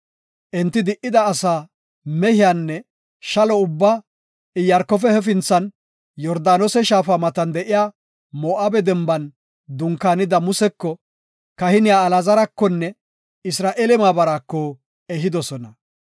Enti di7ida asaa, mehiyanne shalo ubbaa Iyaarkofe hefinthan, Yordaanose shaafa matan de7iya Moo7abe denban dunkaanida Museko, kahiniya Alaazarakonne Isra7eele maabaraako ehidosona.